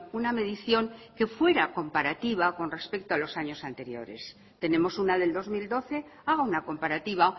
una medición que fuera comparativa con respecto a los años anteriores tenemos una del dos mil doce haga una comparativa